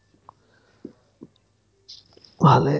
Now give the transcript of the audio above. ভালে